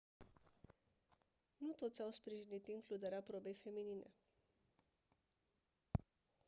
nu toți au sprijinit includerea probei feminine